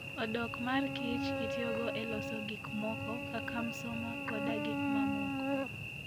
Odok mar kich itiyogo e loso gik moko kaka msoma koda gik mamoko.